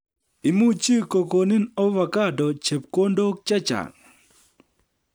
Imuchi kokonin avocado chepkondok che chang'